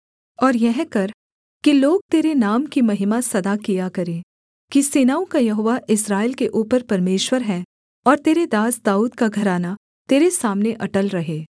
और यह कर कि लोग तेरे नाम की महिमा सदा किया करें कि सेनाओं का यहोवा इस्राएल के ऊपर परमेश्वर है और तेरे दास दाऊद का घराना तेरे सामने अटल रहे